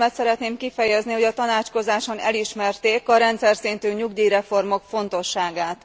Örömömet szeretném kifejezni, hogy a tanácskozáson elismerték a rendszerszintű nyugdíjreformok fontosságát.